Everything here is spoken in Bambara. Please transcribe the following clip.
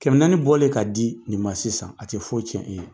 Kɛmɛ naani bɔlen k'a di nin ma sisan a tɛ foyi cɛn.